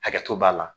Hakɛto b'a la